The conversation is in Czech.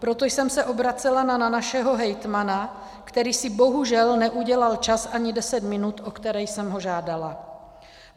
Proto jsem se obracela na našeho hejtmana, který si bohužel neudělal čas ani deset minut, o které jsem ho žádala.